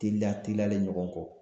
Teliya teliyalen ɲɔgɔn kɔ